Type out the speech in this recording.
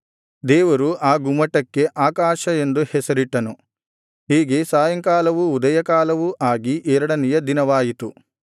ದೇವರು ಆ ಗುಮ್ಮಟಕ್ಕೆ ಆಕಾಶ ಎಂದು ಹೆಸರಿಟ್ಟನು ಹೀಗೆ ಸಾಯಂಕಾಲವೂ ಉದಯಕಾಲವೂ ಆಗಿ ಎರಡನೆಯ ದಿನವಾಯಿತು